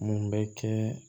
Mun bɛ kɛ